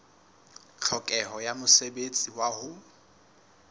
tlhokeho ya mosebetsi wa ho